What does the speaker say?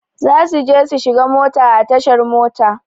Zasu je su shiga mota a tashar mota.